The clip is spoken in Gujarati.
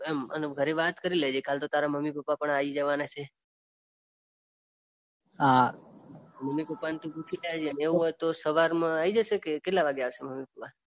ઘરે વાત કરી લેજે કાલે તો તારા મમ્મી પપ્પા આવી જવાના છે હા મમ્મી પપ્પાને તું પૂછી લેજે એવું હોય તો સવારમાં આવી જશે કે કેટલા વાગે આવશે મમ્મી પપ્પા